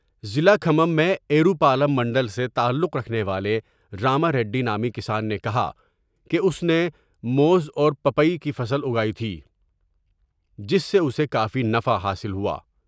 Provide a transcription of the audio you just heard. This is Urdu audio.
ضلع کھمم میں ایرو پالم منڈل سے تعلق رکھنے والے راماریڈی نامی کسان نے کہا کہ اس نے موز اور پاپائی کی فصل اگائی تھی جس سے اسے کافی نفع حاصل ہوا ۔